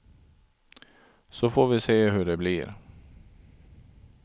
Så får vi se hur det blir.